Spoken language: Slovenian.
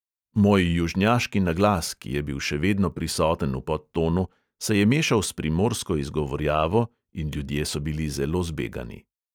Moj južnjaški naglas, ki je bil še vedno prisoten v podtonu, se je mešal s primorsko izgovarjavo in ljudje so bili zelo zbegani.